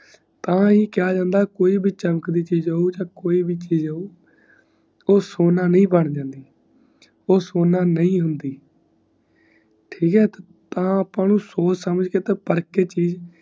ਟਾਇ ਕਿਹਾ ਜਾਂਦਾ ਕੋਈ ਬ ਚਮਕਤੀ ਚੀਜ਼ ਹੋਣ ਤੇ ਕੋਈ ਬਚੀਜ਼ ਹੋਣ ਓ ਸੋਨਾ ਨਯੀ ਬਣ ਜਾਂਦੀ ਓ ਸੋਨਾ ਨਯੀ ਹੁੰਦੀ ਠੀਕ ਈ ਤਾ ਅੱਪਾ ਨੂੰ ਸੋਚ ਸਮਝ ਤੇ ਪਰਖ ਕੇ ਚੀਜ਼